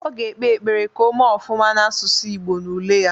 Ọ ga ekpe ekpere ka o mee ofụma n'asụsụ Ịgbo n'ule ya